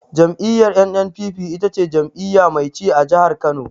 Jam'iyyar NNPP ita ce jam'iyya mai ci a jihar Kano.